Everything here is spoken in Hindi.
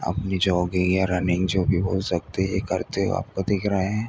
अपनी जॉगिंग या रनिंग जो भी बोल सकते है ये करते हुए आपको दिख रहे हैं।